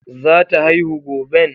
Zata haihu goben?